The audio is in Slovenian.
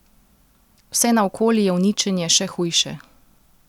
Vse naokoli je uničenje še hujše.